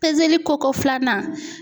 Pezeli ko ko filanan.